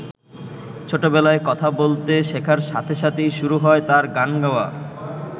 ছোটবেলায় কথা বলতে শেখার সাথে সাথেই শুরু হয় তাঁর গান গাওয়া।